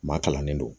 Maa kalannen don